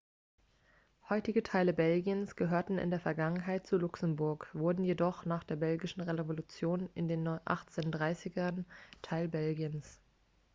heutige teile belgiens gehörten in der vergangenheit zu luxemburg wurden jedoch nach der belgischen revolution in den 1830ern teil belgiens